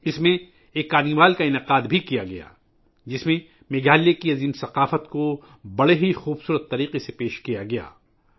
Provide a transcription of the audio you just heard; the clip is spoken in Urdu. اس میں ایک کارنیوال کا بھی اہتمام کیا گیا تھا ، جس میں میگھالیہ کی عظیم ثقافت کو بہت خوبصورت انداز میں دکھایا گیا تھا